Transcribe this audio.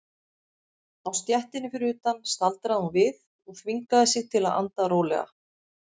Á stéttinni fyrir utan staldraði hún við og þvingaði sig til að anda rólega.